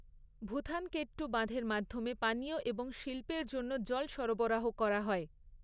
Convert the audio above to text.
ভূথানকেট্টু বাঁধের মাধ্যমে পানীয় এবং শিল্পের জন্য জল সরবরাহ করা হয়।